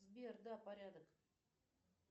сбер да порядок